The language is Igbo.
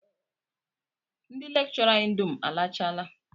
Ndị lekchọra anyị dum alachaala